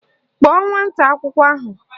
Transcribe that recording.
Kpọọ nwata akwụkwọ ahụ!